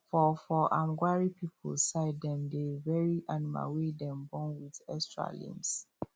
for for um gwari people side dem dey bury animal wey dem born with extra limbs